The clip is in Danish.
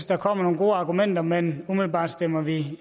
der kommer nogle gode argumenter men umiddelbart stemmer vi